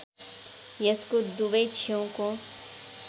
यसको दुवै छेउको